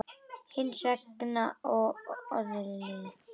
Hins vegar var orðið áliðið.